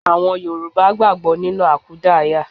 Àwọn Yorùbá gbàgbó nínú àkúdáàyá